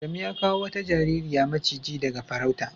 Adamu ya kawo wata jaririya macigi daga farauta.